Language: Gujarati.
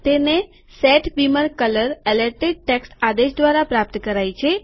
તેને set beamer colour alerted text આદેશ દ્વારા પ્રાપ્ત કરાય છે